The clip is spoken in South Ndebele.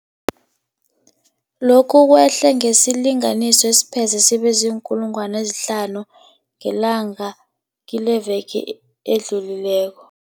Lokhu kwehle ngesilinganiso esipheze sibe ziinkulungwana ezihlanu ngelanga kileveke edlulileko.